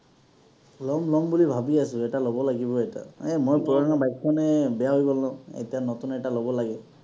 ল’ম ল’ম বুলি ভাবি আছো, এটা ল’ব লাগিব এটা। এ মোৰ পুৰণা bike খনে বেয়া হৈ গ’ল ন। এতিয়া নতুন এটা ল’ব লাগে।